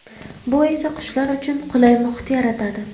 Bu esa qushlar uchun qulay muhit yaratadi.